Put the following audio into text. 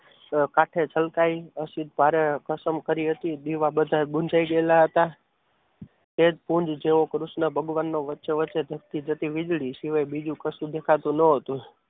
કાંઠે છલકાઈ આસિદ્ધ ભારે કસમ કરી હતી દીવા બધા ગયેલા હતા શ્વેતકુંજ જેવો કૃષ્ણ ભગવાનનો વચ્ચે વચ્ચે ધબકી જતી વીજળી સિવાય બીજું કશું દેખાતું ન હતું.